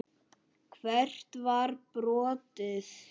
Hvert var brotið?